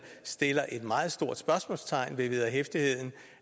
sætter et meget stort spørgsmålstegn ved vederhæftigheden